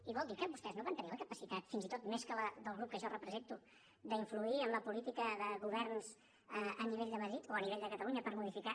i vol dir que vostès no van tenir la capacitat fins i tot més que la del grup que jo represento d’influir en la política de governs a nivell de madrid o a nivell de catalunya per modificar